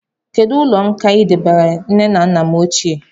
Kedụ ụlọ nkà I debanyere nne na nna m ochie?